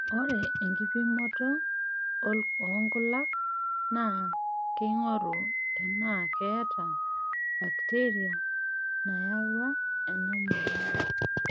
Ore ina kipimoto oonkulak naa keing'oru tenaa keeta bakiteria nayawua ena moyian.